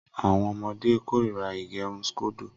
Awọn ọmọde korira ígẹrun scodo.